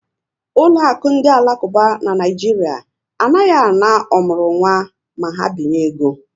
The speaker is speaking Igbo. Ụlọakụ ndị alakuba n' Naijiria anaghị ana ọmụrụnwa na ha binye ego